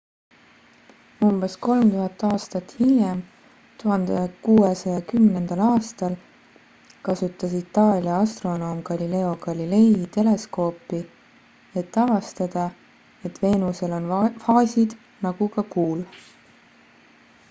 umbes 3000 aastat hiljem 1610 aastal kasutas itaalia astronoom galileo galilei teleskoopi et avastada et veenusel on faasid nagu ka kuul